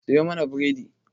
Siyo mana bredi.